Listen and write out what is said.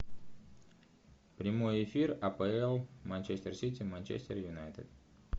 прямой эфир апл манчестер сити манчестер юнайтед